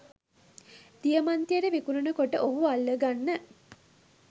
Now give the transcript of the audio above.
දියමන්තියට විකුණන කොට ඔහුව අල්ලගන්න